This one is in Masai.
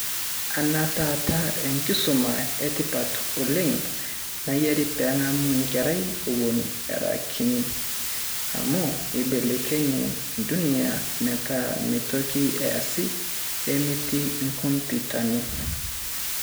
Kenaa taata enkisuma e tipat oleng nayieri pee eng'mu enkerai eun era kiti. Amu aibelekenya Dunia metaa mme toki eesi nemetii inkomputani.